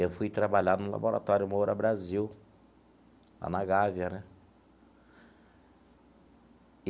Eu fui trabalhar no Laboratório Moura Brasil, lá na Gávea né.